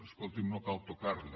escolti’m no cal tocarla